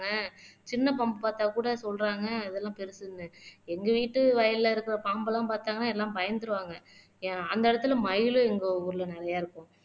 சின்ன பாம்பு பார்த்தா கூட சொல்றாங்க அதெல்லாம் பெருசுன்னு எங்க வீட்டு வயல்ல இருக்கிற பாம்பெல்லாம் பார்த்தாங்கன்னா எல்லாம் பயந்துருவாங்க அந்த இடத்துல மயிலும் எங்க ஊர்ல நிறைய இருக்கும்